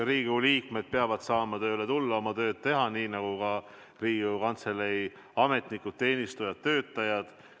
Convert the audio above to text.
Riigikogu liikmed peavad saama tööle tulla, oma tööd teha, nii nagu ka Riigikogu Kantselei ametnikud, teenistujad, töötajad.